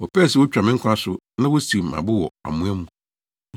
Wɔpɛɛ sɛ wotwa me nkwa so na wosiw me abo wɔ amoa mu;